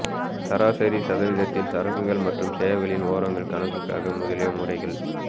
சராசரி சதவீதத்தில் சரக்குகள் மற்றும் சேவைகளில் ஓரங்கள் கணக்குக்காக முதலிய முறைகள்